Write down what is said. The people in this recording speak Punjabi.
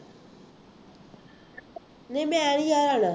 ਨਹੀਂ ਮੈਂ ਨਹੀਂ ਨਾਲ ਆਉਣਾ